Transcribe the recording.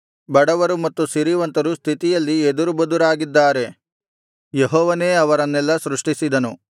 ಬಡವರು ಮತ್ತು ಸಿರಿವಂತರು ಸ್ಥಿತಿಯಲ್ಲಿ ಎದುರುಬದುರಾಗಿದ್ದಾರೆ ಯೆಹೋವನೇ ಅವರನ್ನೆಲ್ಲಾ ಸೃಷ್ಟಿಸಿದನು